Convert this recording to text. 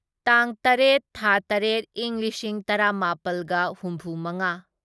ꯇꯥꯡ ꯇꯔꯦꯠ ꯊꯥ ꯇꯔꯦꯠ ꯢꯪ ꯂꯤꯁꯤꯡ ꯇꯔꯥꯃꯥꯄꯜꯒ ꯍꯨꯝꯐꯨꯃꯉꯥ